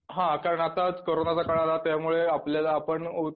हा कारणं आताच कोरोनाचा काळ आला त्यामुळे आपल्याला आपण